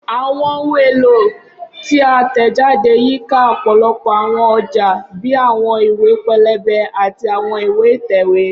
Awọn ohun elo ti a tẹjade yika ọpọlọpọ awọn ọja bii awọn iwe pẹlẹbẹ ati awọn iwe itẹwe.